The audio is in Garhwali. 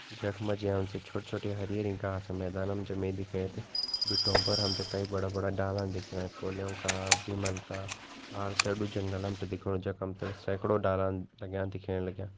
जखमा जी हमते छोटी-छोटी हरी-हरी घास मैदानम जमीन दिख्येण बिट्टो पर हमते कई बड़ा-बड़ा डाला दिखयाणा कोलियो का बिमल का आरसेडु जंगलम हमते दिख्याणु जख हमते सेकड़ो डालन टांग्या दिख्यण लाग्यां।